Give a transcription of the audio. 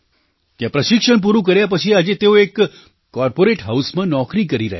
ત્યાં પ્રશિક્ષણ પૂરું કર્યા પછી આજે તેઓ એક કૉર્પોરેટ હાઉસમાં નોકરી કરી રહ્યા છે